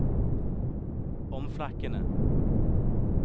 omflakkende